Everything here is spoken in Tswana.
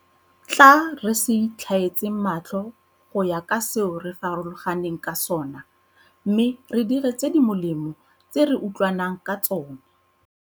Tla re se itlhaetseng matlho go ya ka seo re farologaneng ka sona mme re dire tse di molemo tse re utlwa nang ka tsona.